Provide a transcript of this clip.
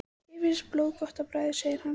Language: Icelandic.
Þér finnst blóð gott á bragðið segir hann.